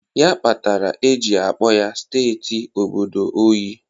Ya kpatara e ji akpọ ya steeti obodo unyi.